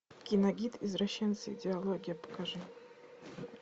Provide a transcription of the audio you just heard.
киногид извращенца идеология покажи